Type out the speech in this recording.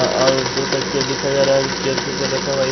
अ और दो तकिया दिखा जा रहा हैं जो चेयर के ऊपर रखा हुआ ए--